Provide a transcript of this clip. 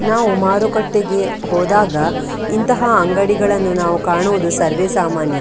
ನಾವು ಮಾರುಕಟ್ಟೆಗೆ ಹೋದಾಗ ಇಂತಹ ಅಂಗಡಿಗಳನ್ನು ನಾವು ಕಾಣುವುದು ಸರ್ವೇ ಸಾಮಾನ್ಯ .